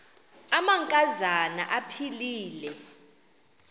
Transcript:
amanka zana aphilele